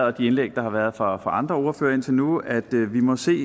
og de indlæg der har været fra andre ordførere indtil nu at vi vi må se